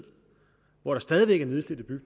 og